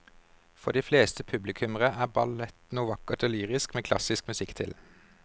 For de fleste publikummere er ballett noe vakkert og lyrisk med klassisk musikk til.